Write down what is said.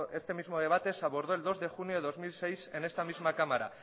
este mismo debate se abordó el dos de junio de dos mil seis en esta misma cámara